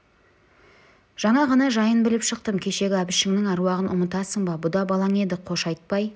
жаңа ғана жайын біліп шықтым кешегі әбішіңнің әруағын ұмытасың ба бұ да балаң еді қош айтпай